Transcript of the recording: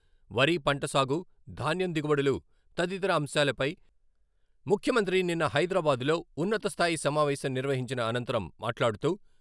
వరి పంట సాగు, ధాన్యం దిగుబడులు తదితర అంశాలపై ముఖ్యమంత్రి నిన్న హైదరాబాద్ లో ఉన్నత స్థాయి సమావేశం నిర్వహించిన అనంతరం మాట్లాడుతూ..